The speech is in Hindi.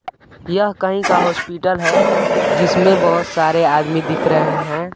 यह कहीं का हॉस्पिटल है जिसमें बहुत सारे आदमी दिख रहे हैं।